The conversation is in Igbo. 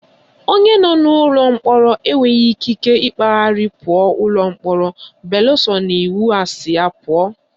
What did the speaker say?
Onye nọ n'ụlọ mkpọrọ enweghị ikike ịkpagharị pụọ ụlọ mkpọrọ beluso na iwu asị ya pụọ